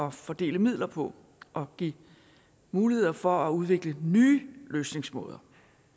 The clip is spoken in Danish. at fordele midler på og give muligheder for at udvikle nye løsningsmåder